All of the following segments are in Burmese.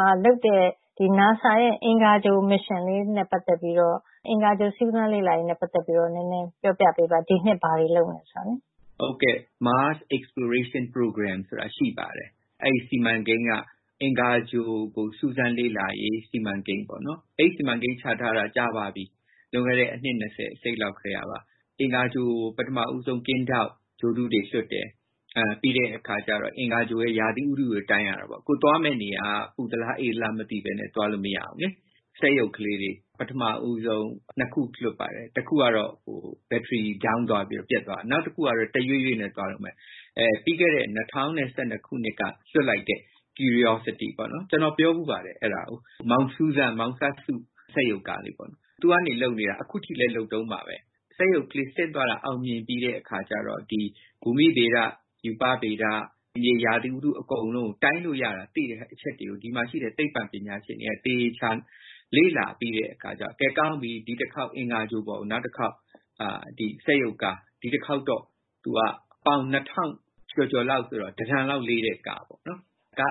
ှာလုပ်တဲ့ နာဆာရဲ့ အင်္ဂါဂြိုဟ်နဲ့ ပတ်သက်ပြီးတော့ အင်္ဂါဂြိုဟ်စူးစမ်းလေ့လာရေးနဲ့ ပတ်သက်ပြီးတော့ နည်းနည်းပြောပြပေးပါ။ ဒီနှစ်ဘာတွေလုပ်မယ်ဆိုတာကို။ မင်္ဂလာပါ ဒေါ်ခင်မျိုးသက်။ Mars Exploration Program ဆိုတာ ရှိပါတယ်။ အဲဒီ စီမံကိန်းက အင်္ဂါဂြိုဟ်ကို စူးစမ်းလေ့လာရေး စီမံကိန်း။ အဲဒီ စီမံကိန်းချထားတာ ကြာပါပြီ။ လွန်ခဲ့တဲ့ အနှစ် နှစ်လောက်ကတည်းပါ။ အင်္ဂါဂြိုဟ်ကို ပထမဦးဆုံး ကင်းထောက်ဂြိုဟ်တုတွေ လွှတ်တယ်။ ပြီးတော့ အင်္ဂါဂြိုဟ်ရဲ့ ရာသီဥတုတွေကို တိုင်းရတာပေါ့။ ကိုယ်သွားမယ့် နေရာက ပူသလား၊ အေးသလား မသိဘူးဆိုတာကို မသိဘဲနဲ့ သွားလို့မရဘူး။ စက်ရုပ်လေးတွေ ပထမဦးဆုံး နှစ်ခုလွှတ်ပါတယ်။ တစ်ခုကတော့ battery down သွားပြီးတော့ ပျက်သွားပါတယ်။ နောက်တစ်ခုကတော့ တရွေ့ရွေ့နဲ့ သွားနေတုန်းပါ။ ပြီးခဲ့တဲ့ ၂၀၁၂ ခုနှစ်က လွှတ်တင်လိုက်တဲ့ curiosity - အဲဒါကို ကျနော် ပြောဖူးပါတယ်။ မောင်စူးစမ်း၊ မောင်စပ်စု စက်ရုပ်ကလေးပါ။ သူကနေ အလုပ်လုပ်နေတာ အခုထိ လုပ်နေတုန်းပါပဲ။ စက်ရုပ်ကလေး ဆင်းသွားတာ အောင်မြင်ပြီးသွားတဲ့အခါမှာ ဘူမိဗေဒ၊ ရူပဗေဒ - ရာသီဥတု အကုန်လုံးကို တိုင်းလို့ရတဲ့ အချက်တွေကို ဒီမှာရှိတဲ့ သိပ္ပံပညာရှင်တွေက သေသေချာချာ လေ့လာပြီးတဲ့အခါကြတော့ ကောင်းပြီ၊ ဒီတစ်ခေါက် အင်္ဂါဂြိုဟ်ပေါ်ကို နောက်တစ်ခေါက် ဒီစက်ရုပ်က ပေါင် ကျော်ကျော်လောက်ဆိုတော့ တစ်တန်လောက်လေးတဲ့ ကား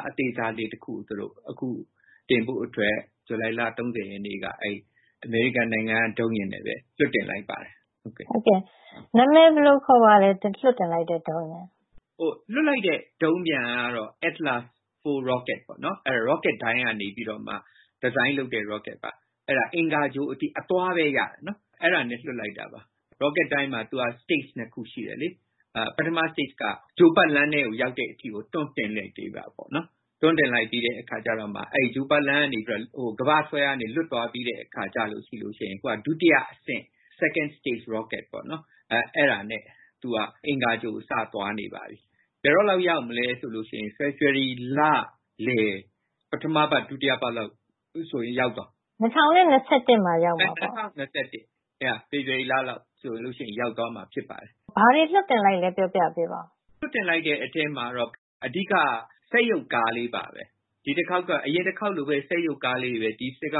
အသေးစားလေးတစ်ခုကို သူတို့ အခုတင်ဖို့အတွက် ဇူလိုင်လ ရက်နေ့မှာ အမေရိကန်နိုင်ငံက ဒုံးယာဉ်နဲ့ပဲ လွှတ်တင်လိုက်ပါတယ်။ လွှတ်တင်လိုက်တဲ့ ဒုံးယာဉ် နာမည်ဘယ်လိုခေါ်ပါသလဲ။ လွှတ်လိုက်တဲ့ ဒုံးပျံကတော့ Atlas 4 rocket ပါ။ Rocket ဒိုင်းကနေ Design လုပ်တဲ့ Rocket ပါ။ အဲဒါက အင်္ဂါဂြိုဟ် အသွားပဲရတယ်။ အဲဒါနဲ့ လွှတ်လိုက်တာပါ။ Rocket မှာ Stage အဆင့် နှစ်ဆင့် ရှိပါတယ်။ ပထမအဆင့်က ဂြိုဟ်ပတ်လမ်းထဲကို ရောက်တဲ့အထိကို တွန်းတင်ပေးလိုက်တာပါ။ တွန်းတင်ပေးလိုက်ပြီးတဲ့အခါကြမှ အဲဒီဂြိုဟ်ပတ်လမ်းကနေ ကမ္ဘာ့ဆွဲအားကနေ လွတ်သွားပြီးတဲ့အခါကြပြီးမှ ဒုတိယအဆင့် Second Stage Rocket နဲ့ အင်္ဂါဂြိုဟ်ကို ဆက်သွားနေပါပြီ။ ဘယ်တော့လောက် ရောက်မလဲဆိုရင်တော့ ဖေဖေါ်ဝါရီလလယ် ပထမအပတ်၊ ဒုတိယအပတ်ဆိုရင် ရောက်သွားပါပြီ။ ၂၀၂၁ မှာ ရောက်မှာလား။ ၂၀၂၁ ဖေဖေါ်ဝါရီလလောက်ဆို ရောက်သွားမယ် ဖြစ်ပါတယ်။ ဘာတွေ လွှတ်တင်လိုက်လဲ ပြောပြပေးပါအုံး။ လွှတ်တင်လိုက်တဲ့အထဲမှာတော့ အဓိက စက်ရုပ်ကားလေးပါပဲ။ ဒီတစ်ခေါက်က အရင်တစ်ခေါက်လိုပါပဲ စက်ရုပ်ကားလေးပါပဲ။ ဒီစက်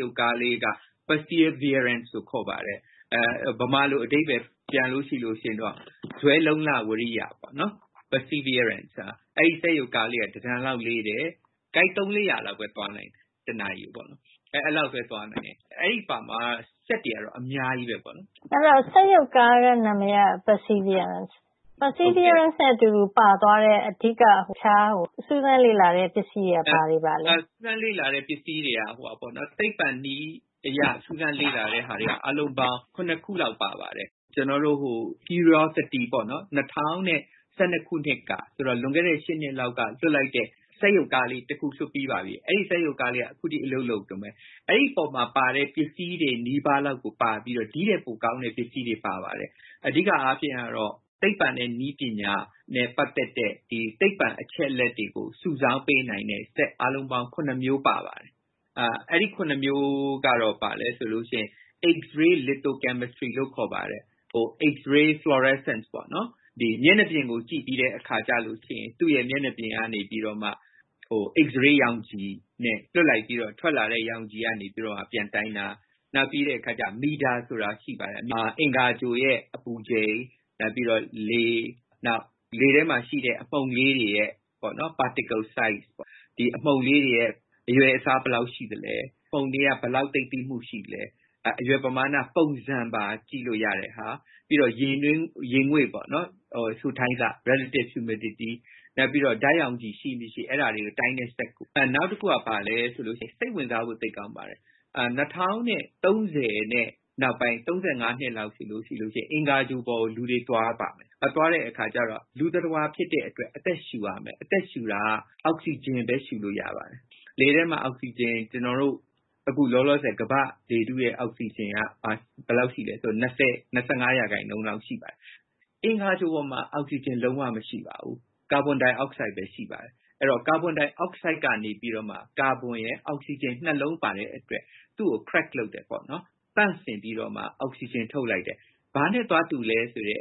ရုပ်ကားလေးက Perseverance လို့ ခေါ်ပါတယ်။ မြန်မာလိုအဓိပ္ပါယ်ပြန်ရင်တော့ ဇွဲ၊ လုံ့လ၊ ဝီရိယ ပေါ့နော်။ အဲဒီစက်ရုပ် ကားကလေးက တစ်တန်လောက် လေးတယ်။ သူက တစ်နာရီကို မီတာ တစ်ရားငါးဆယ်လောက် ကိုက် သုံး- လေးရာလောက်ပဲ သွားနိုင်ပါတယ်။ အဲဒီမှာတော့ စက်တွေက အများကြီးပါ။ အဲဒီတော့ စက်ရုပ်ကားနာမည်က Perseverance နဲ့ အတူတူ ပါသွားတဲ့ အဓိက စူးစမ်းလေ့လာတဲ့ ပစ္စည်းတွေက ဘာတွေပါလဲ။ စူးစမ်းလေ့လာတဲ့ ပစ္စည်းတွေက သိပ္ပံနည်းအရ စူးစမ်းလေ့လာတဲ့ဟာတွေက အားလုံးပေါင်း ခုလောက်ပါပါတယ်။ ကျနော်တို့ curiosity - ၂၀၁၂ ခုနှစ်က လွန်ခဲ့တဲ့ နှစ်လောက်က လွှတ်လိုက်တဲ့ စက်ရုပ်ကားလေးတစ်ခု လွှတ်ပြီးပါပြီ။ အဲဒီကားလေးက အခုထိ အလုပ်လုပ်နေတုန်းပဲ။ အဲဒီပေါ်မှာပါတဲ့ ပစ္စည်းတွေနီးပါးလောက်ကို ပါပြီးတော့၊ ဒီထက်ပိုကောင်းတဲ့ ပစ္စည်းတွေပါသွားပါတယ်။ အဓိကအားဖြင့်တော့ သိပ္ပံနဲ့ နည်းပညာနဲ့ ပတ်သက်တဲ့ သိပ္ပံအချက်အလက်တွေကို စုဆောင်းပေးနိုင်တဲ့ စက်အားလုံးပေါင်း မျိုး ပါပါတယ်။ အဲဒီ မျိုးကတော့ ဘာလဲဆိုရင် x-ray lithochemistry လို့ ခေါ်ပါတယ် x-ray fluorescence မျက်နှာပြင်ကိုကြည့်ပြီးတဲ့အခါကြရင် သူ့ရဲ့မျက်နှာပြင်ကနေ x-ray ရောင်ခြည်နဲ့ လွှတ်လိုက်ပြီးတော့ ထွက်လာတဲရောင်ခြည်ကနေ ပြန်တိုင်းတာ။ နောက်ပြီးတော့ MEDA ဆိုတာ ရှိပါတယ်။ အင်္ဂါဂြိုဟ်ရဲ့ အပူချိန်၊ လေ၊ နောက်ပြီးတော့ လေထဲမှာရှိတဲ့ အမှုန်လေးတွေရဲ့ အရွယ်အစား ဘယ်လောက်ရှိသလဲ။ အမှုန်တွေက ဘယ်လောက်သိပ်သည်းမှုရှိလဲ။ အရွယ်ပမာဏပုံစံပါ ကြည့်လို့ရတဲ့ဟာ။ ပြီးတော့ ရေငွေ့စိုထိုင်းဆ relative humidity နောက်ပြီးတော့ ဓါတ်ရောင်ခြည် ရှိမရှိ၊ အဲဒါတွေကို တိုင်းတဲ စက်တစ်ခု ပါပါတယ်။ နောက်တခုက စိတ်ဝင်စားဖို့ သိပ်ကောင်းပါတယ်။ ၂၀၃၀ နောက်ပိုင်း ၂၀၃၅ နှစ် နောက်ပိုင်းမှာဆိုရင် အင်္ဂါဂြိုဟ်ပေါ်ကို လူတွေသွားပါမယ်။ သွားတဲ့အခါကြတော့ လူသတ္တဝါဖြစ်တဲ့အတွက်ကြောင့် အသက်ရှူရမယ်။ အသက်ရှူတာ အောက်စီဂျင်ပဲ ရှူလို့ရပါတယ်။ လေထဲမှာ အောက်စီဂျင် ကျနော်တို့ အခုလောလောဆယ် ကမ္ဘာ့လေထုရဲ့ အောက်စီဂျင်က ဘယ်လောက်ရှိသလဲဆိုရင် ၂၀-၂၅ ရာခိုင်နှုန်းလောက် ရှိပါတယ်။ အင်္ဂါဂြိုဟ်ပေါ်မှာ အောက်စီဂျင် လုံးဝမရှိပါဘူး။ ကာဗွန်ဒိုင်အောက်ဆိုဒ်ပဲ ရှိပါတယ်။ ကာဗွန်ဒိုင်အောက်ဆိုဒ်ကနေ ကာဗွန်ရယ်၊ အောက်စီဂျင်နှစ်လုံး ပါတဲ့အတွက် သူကို crack သန့်စင်ပြီးတော့မှ အောက်စီဂျင်ထုတ်လိုက်တယ်။ ဘာနဲ့သွားတူသလဲဆိုရင်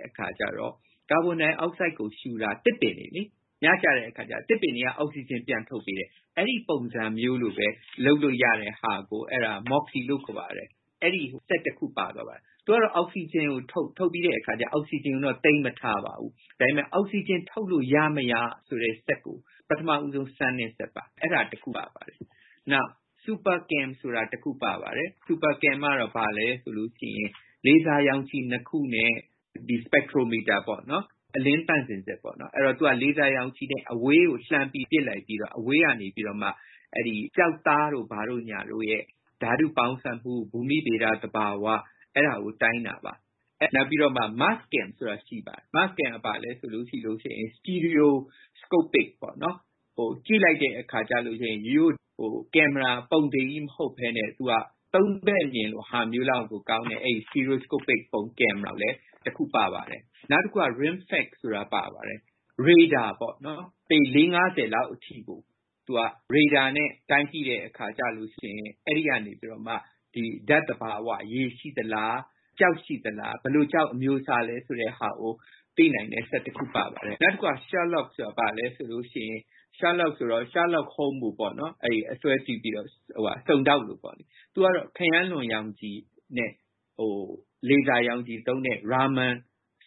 ကာဗွန်ဒိုင်အောက်ဆိုဒ်ကို ရှူတာ သစ်ပင်တွေ။ ညကျတဲ့အခါ သစ်ပင်တွေက အောက်စီဂျင် ပြန်ထုတ်ပေးတယ်။ အဲဒီပုံစံမျိုးလိုပဲ လုပ်လို့ရတဲ့ဟာကို MOXIE လို့ ခေါ်ပါတယ်။ အဲဒီစက်တစ်ခု ပါသွားပါတယ်။ သူကတော့ အောက်စီဂျင်ကို ထုတ်ပြီးတော့ အောက်စီဂျင်ကိုတော့ သိမ်းမထားပါဘူး။ အောက်စီဂျင် ထုတ်လို့ရမရဆိုတဲ့ စက်ကို ပထမဦးဆုံးစမ်းတဲ့စက်ပါ။ အဲဒါတစ်ခုပါ ပါသွားပါတယ်။ နောက် Supercam ဆိုတာ တစ်ခုပါသွားပါတယ်။ Supercam က ဘာလဲဆိုရင် လေဆာရောင်ခြည် နှစ်ခုနဲ့ Spectrometer အလင်းသန့်စင်စက်။ သူက လေဆာရောင်ခြည်နဲ့ အဝေးကို လှမ်းပြီးပစ်လိုက်ပြီးတော့ အဝေးကနေ ကျောက်သားတို့ ဘာတို့ညာတို့ရဲ့ ဓါတုပေါင်းစပ်မှု ဘူမိဗေဒသဘာဝ အဲဒါကို တိုင်းတာပါ။ နောက် Mass spec ဆိုတာ ရှိပါတယ်။ သူက stereoscopic ပေါ့။ ကြည့်လိုက်တဲ့အခါ ရိုးရိုးကင်မရာကြီး မဟုတ်ဘဲန့၊ သုံးဘက်မြင် ဟာမျိုးလောက်ကို ကောင်းတဲ့ stereoscopic ကင်မရာ တစ်ခုပါပါတယ်။ နောက်တခုက RIMFAX ဆိုတာ ပါပါတယ်။ ရေဒါ ပေါ့နော်။ ပေ လောက်အထိကို ရေဒါနဲ့ တိုင်းပြီး အဲဒီကနေ ဓါတ်သဘာဝ၊ ရေရှိသလား၊ ကျောက်ရှိသလား။ ဘယ်လိုကျောက်အမျိုးအစား လဲ ဆိုတာကို သိနိုင်တဲ့ စက်တစ်ခု ပါပါတယ်။ နောက်တခုက SHERLOC – Sherlock Holmes စုံထောက်ကို အဆွဲပြုပြီးတော့ - သူကတော့ ခရမ်းလွန်ရောင်ခြည်နဲ့ လေဆာရောင်ခြည်သုံးတဲ့ Raman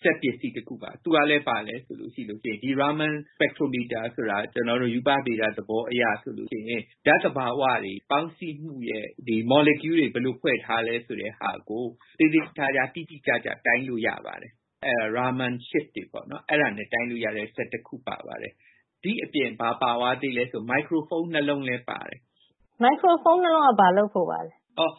စက်ပစ္စည်း တစ်ခုပါ။ သူကလဲ ဘာလဲဆိုရင် Raman Spectrometer ဆိုတာ ရူပဗေဒ သဘောအရဆိုရင် ဓါတ်သဘာဝတွေ ပေါင်းစည်းမှုရဲ့ မော်လီကျူးတွေ ဘယ်လိုဖွဲ့ထားလဲ ဆိုတဲ့ဟာကို သေသေချာချာ၊ တိတိကျကျ တိုင်းလို့ရပါတယ်။ အဲဒါက Ramanship တွေပါ။ ဒီ့အပြင် ဘာပါသွားသလဲဆိုရင် မိုက်ခရိုဖုံး နှစ်လုံးလည်း ပါပါတယ်။ မိုက်ခရိုဖုန်း နှစ်လုံးက ဘာလုပ်ဖို့ပါလဲ။ မိုက်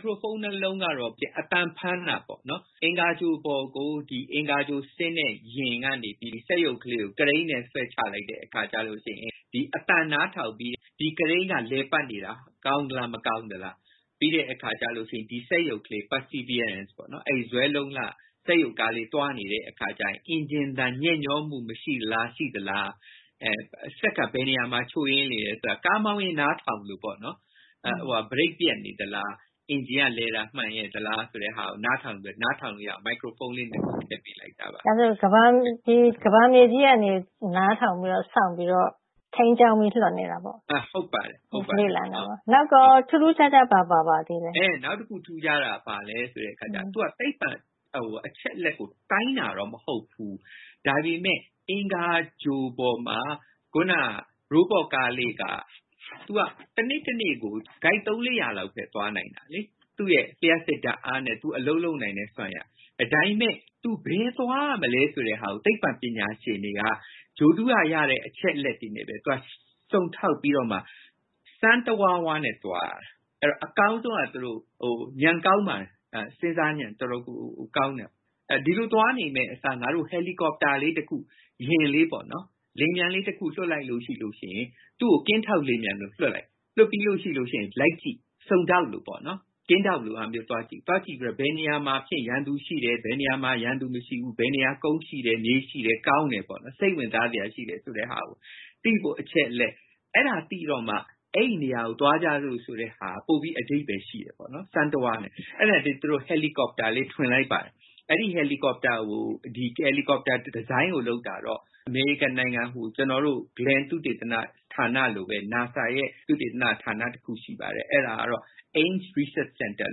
ခရိုဖုန်းနှစ်လုံးကတော့ အသံဖမ်းတာပေါ့။ အင်္ဂါဂြိုဟ်ပေါ်ကို အင်္ဂါဂြိုဟ်ဆင်းတဲ့ယာဉ်ကနေ စက်ရုပ်လေးကို ကရိန်းနဲ့ ဆွဲချလိုက်တဲ့အခါ အသံနားထောင်ပြီး၊ ဒီကရိန်းက လည်ပတ်နေတာ ကောင်းသလား၊ မကောင်းဘူးလား။ ပြီးတဲ့အခါ ဒီစက်ရုံလေး Perseverance အဲဒီ ဇွဲလုံးလ စက်ရုပ်ကားလေး သွားနေတဲ့အခါကြရင် အင်ဂျင်သံ ညက်ညောမှု ရှိသလား၊ မရှိသလား။ စက်က ဘယ်နေရာမှာ ချို့ယွင်းနေသလဲ။ ကားမောင်းရင် နားထောင်သလိုပေါ့၊ ဘရိတ်ပျက်နေသလား။ အင်ဂျင်လည်တာ မှန်ရဲ့လားဆိုတာကို နားထောင်ပြီးတော့ နားထောင်လို့ရအောင် မိုက်ခရိုဖုန်းလေးနှစ်ခု ထည့်ပေးလိုက်တာပါ။ ဒါဆိုရင် ကမ္ဘာမြေကြီးကနေ နားထောင်ပြီးတော့ စောင့်ပြီးတော့ ထိန်းကျောင်းပြီး လွှတ်နေတာပေါ့။ နောက်ကော ထူးထူးခြားခြား ဘာတွေပါပါသေးလဲ။ ဟုတ်ပါတယ်။ နောက်တစ်ခု ထူးခြားတာက ဘာလဲဆိုတော့ သူက သိပ္ပံအချက်အလက်ကို တိုင်းတာတော့ မဟုတ်ဘူး။ ဒါပေမဲ့ အင်္ဂါဂြိုဟ်ပေါ်မှာ အခုန Robot Car လေးက သူက တနေ့တနေ့ကို သုံးလေးရာလောက်ပဲ သွားနိုင်တယ်။ သူ့ရဲ့ လျှပ်စစ်ဓါတ်အားနဲ့ အလုပ်လုပ်နိုင်တဲ့ စွမ်းရည်က။ ဒါပေမဲ့ သူ ဘယ်သွားရမလဲဆိုတဲ့ သိပ္ပံပညာရှင်တွေက ဂြိုဟ်တုကရတဲ့ အချက်အလက်တွေနဲ့ပဲ စုံထောက်ပြီးတော့မှ စမ်းတဝါးဝါးနဲ့ သွားတာ။ အကောင်းဆုံးက သူတို့ ဉာဏ်ကောင်းပါတယ်။ စဉ်းစားဉာဏ် တော်တော်လေး ကောင်းပါတယ်။ ဒီလိုသွားနေမယ့်အစား ငါတို့ Helicopter လေး တစ်ခု - ရဟတ်ယာဉ်လေးတစ်ခု လွှတ်လိုက်လို့ရှိရင် သူ့ကို ကင်းထောက်လေယာဉ်ပျံလေး လွှတ်လိုက်တယ်။ လွှတ်ပြီးနောက် လိုက်ကြည့် စုံထောက်လို ကင်းထောက်လို့ဟာမျိုးသွားကြည့်ပြီးတော့ ဘယ်နေရာမှာတော့ ရန်သူရှိတယ်။ ဘယ်နေရာမှာ ရန်သူမရှိဘူး။ ဘယ်နေရာမှာ ကုန်ရှိတယ်။ မြေရှိတယ်။ ကောင်းတယ်။ စိတ်ဝင်စားစရာ ရှိသလဲဆိုတဲ့ဟာကို သိဖို့အချက်အလက်။ အဲဒါတွေ သိတော့မှ အဲဒီနေရာကို သွားကြစို့ဆိုတဲ့ဟာက ပိုပြီးတော့ အဓိပ္ပါယ်ရှိတယ်။ အဲဒါနဲ့ သူတို့ Helicopter လေး ထွင်လိုက်ပါတယ်။ အဲဒီ Helicopter ဒီဇိုင်းကို လုပ်တာတော့ အမေရိကန်နိုင်ငံ Glen သုတေသနဌာနလိုပဲ NASA ရဲ့ သုတေသနဌာနတစ်ခု ရှိပါတယ်။ အဲဒါကတော့ Ames Research Center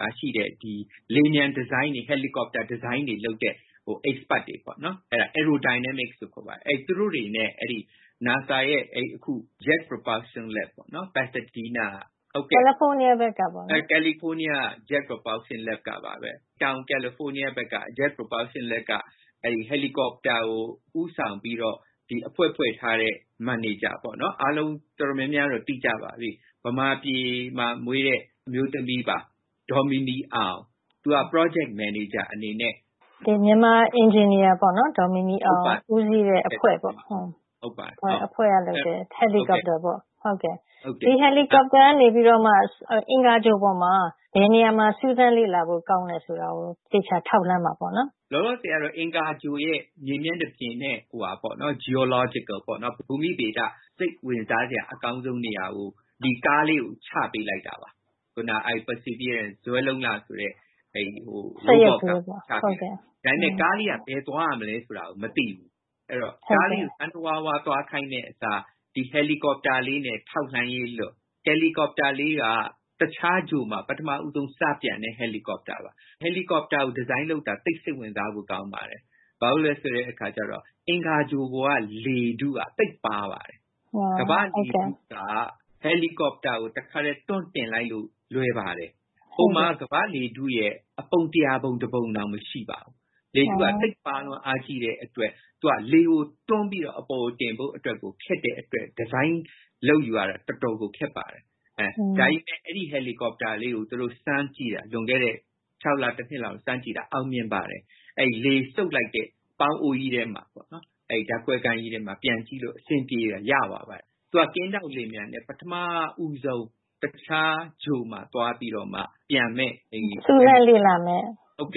မှာရှိတဲ့ လေယာဉ်ပျံဒီဇိုင်းတွေ၊ Helicopter ဒီဇိုင်းတွေလုပ်တဲ့ Experts တွေ Aerodynamic လို့ ခေါ်ပါတယ်။ သူတို့တွေနဲ့ NASA ရဲ့ Jet Propulsion Lab, Pasadena, California ကပါပဲ တောင်ကယ်လီဖိုးနီးယားဘက်က Jet Propulsion Lab က Helicopter ကို ဦးဆောင်ပြီးတော့ အဖွဲ့ဖွဲ့ထားတဲ့ မန်နေဂျာ။ အားလုံးတော်တော်များများတော့ သိကြပါပြီ ဗမာပြည်မှာမွေးတဲ့ အမျိုးသမီးပါ။ ဒေါ်မီမီအောင်ပါ။ သူက Project Manager အနေနဲ့… ဒေါ်မီမီအောင်က မြန်မာအင်ဂျင်နီယာအနေနဲ့ ဦးစီးတဲ့အဖွဲ့ကလုပ်တဲ့ Helicopter ပေါ့။ ဒီ Helicopter ကနေ အင်္ဂါဂြိုဟ်ပေါ်မှာ ဘယ်နေရာမှာ စူးစမ်းလေ့လာဖို့ကောင်းတယ်ဆိုတာကို သေချာထောက်လှမ်းမှာပေါ့။ လောလောဆယ်တော့ အင်္ဂါဂြိုဟ်ရဲ့ မြေမျက်နှာပြင်နဲ့ Geological ဘူမိဗေဒ စိတ်ဝင်စားစရာ အကောင်းဆုံးနေရာကို ဒီကားလေးကို ချပေးလိုက်တာ။ အခုနပြောတဲ့ Perseverance ဇွဲလုံးလ စက်ရုပ်ကားလေးကို ချပေးလိုက်တာ။ ဒါပေမဲ့ ကားလေးက ဘယ်သွားရမလဲဆိုတာကို မသိဘူး။ အဲဒီတော့ ကားလေးကို စမ်းတဝါးဝါး သွားခိုင်းမယ့်အစား၊ ဒီ Helicopter လေးနဲ့ ထောက်လှမ်းရေးလွှတ်ပြီး၊ Helicopter လေးက တခြားဂြိုဟ်မှာ ပထမဦးဆုံး စပြန်တဲ့ Helicopter ပါ။ Helicopter ကို ဒီဇိုင်းလုပ်တာ သိပ်စိတ်ဝင်စားဖို့ ကောင်းပါတယ်။ ဘာဖြစ်လို့လဲဆိုတော့ အင်္ဂါဂြိုဟ်ပေါ်က လေထုက သိပ်ပါးပါတယ်။ ကမ္ဘာ့လေထုက Helicopter ကို တခါတည်း တွန်းတင်လိုက်လို့ လွယ်ပါတယ်။ ဟိုမှာက ကမ္ဘာ့လေထုရဲ့ အပုံတစ်ရာပုံ တစ်ပုံတောင် မရှိပါဘူး။ လေထုက သိပ်ပါးလွန်အားကြီးတဲ့အတွက် သူက လေကို တွန်းပြီးတော့ တင်ဖို့အတွက် ခက်တဲ့အတွက် ဒီဇိုင်းလုပ်ယူရတာ တော်တော်လေး ခက်ပါတယ်။ ဒါပေမဲ့ အဲဒီ Helicopter လေးကို သူတို့စမ်းကြည့်တာ လွန်ခဲ့တဲ့ လ၊ နှစ်လောက် စမ်းကြည့်တာ အောင်မြင်ပါတယ်။ အဲဒီလေစုပ်လိုက်တဲ့ ပေါင်းအိုးကြီးထဲမှာ။ ဓါတ်ခွဲခန်းကြီးထဲမှာ ပျံကြည့်တာ အဆင်ပြေရသွားပါတယ်။ သူက ကင်းထောက်လေယာဉ်ပျံအနေနဲ့ ပထမဦးဆုံး တခြားဂြိုဟ်မှာ သွားပြီးတော့မှ ပျံမယ့်၊ စူးစမ်းလေ့လာပါမယ်။ အချ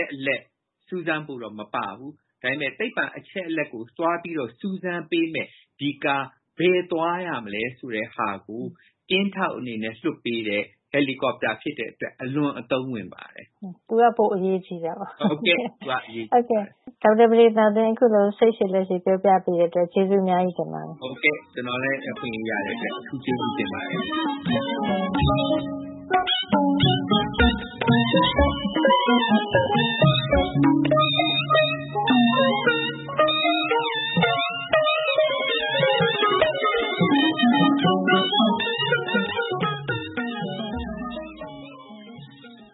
က်အလက် စူးစမ်းဖို့တော့ မပါဘူး။ ဒါပေမဲ့ သိပ္ပံအချက်အလက်ကို သွားပြီးတော့ စူးစမ်းပေးမယ့် ဒီကားလေး ဘယ်သွားရမလဲဆိုတဲ့ဟာကို ကင်းထောက်အနေနဲ့လွှတ်ပေးတဲ့ Helicopter ဖြစ်တဲ့အတွက် အလွန်အသုံးဝင်ပါတယ်။ သူက ပိုပြီးတော့ အရေးကြီးတယ်ပေါ့။ ဟုတ်ကဲ့ သူက ပိုပြီးတော့ အရေးကြီးပါတယ်။ ဒေါက်တာပဒေသာတင် အခုလို စိတ်ရှည်လက်ရှည် ပြောပြပေးတဲ့အတွက် ကျေးဇူးအများကြီးတင်ပါတယ်။ ကျနော်လည်း အခွင့်အရေးရတဲ့အတွက် အထူးကျေးဇူးတင်ပါတယ်။